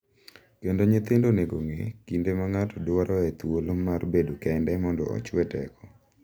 Kendo nyithindo onego ong’e kinde ma ng’ato dwaroe thuolo mar bedo kende mondo ochue teko.